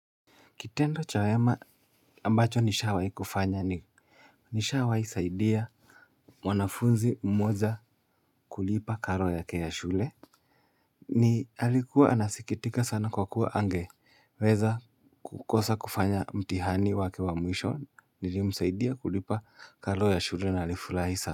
Kitendo cha wema ambacho nishawahi kufanya ni nishawahi saidia mwanafunzi mmoja kulipa karo yake ya shule. Ni alikuwa anasikitika sana kwa kuwa angeweza kukosa kufanya mtihani wake wa mwisho nilimsaidia kulipa karo ya shule na alifurahi sana.